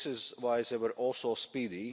This is why they were also speedy.